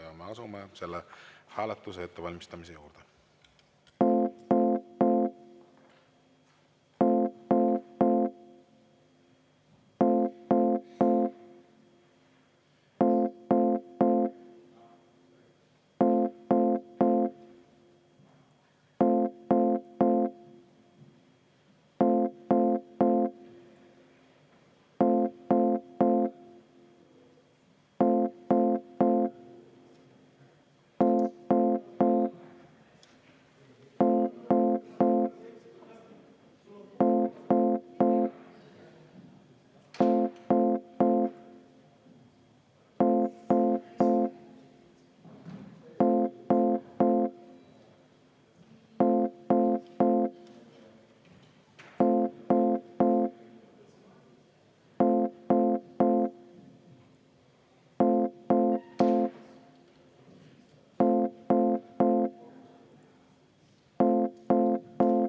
Me asume selle hääletuse ettevalmistamise juurde.